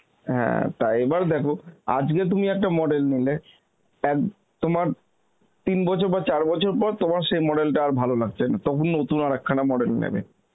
হ্যাঁ তা এবার দেখো আজকে তুমি একটা model নিলে, এক তোমার তিন বছর বা চার বছর পর তোমার সেই model টা আর ভালো লাগছে না তখন নতুন আরেকখানা model নেবে